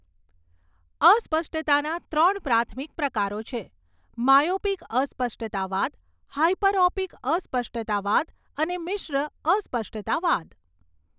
અસ્પષ્ટતાના ત્રણ પ્રાથમિક પ્રકારો છે, માયોપિક અસ્પષ્ટતાવાદ, હાયપરઓપિક અસ્પષ્ટતાવાદ અને મિશ્ર અસ્પષ્ટતાવાદ.